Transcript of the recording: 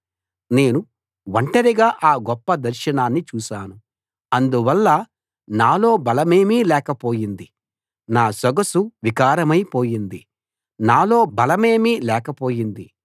నేను ఒంటరిగా ఆ గొప్ప దర్శనాన్ని చూశాను అందువల్ల నాలో బలమేమీ లేకపోయింది నా సొగసు వికారమై పోయింది నాలో బలమేమీ లేకపోయింది